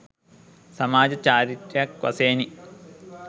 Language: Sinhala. සමාජ චාරිත්‍රයක් වශයෙනි